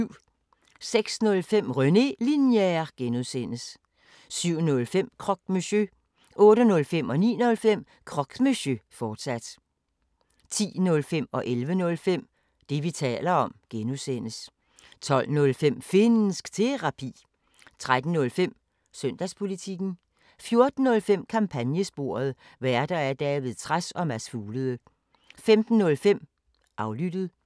06:05: René Linjer (G) 07:05: Croque Monsieur 08:05: Croque Monsieur, fortsat 09:05: Croque Monsieur, fortsat 10:05: Det, vi taler om (G) 11:05: Det, vi taler om (G) 12:05: Finnsk Terapi 13:05: Søndagspolitikken 14:05: Kampagnesporet: Værter: David Trads og Mads Fuglede 15:05: Aflyttet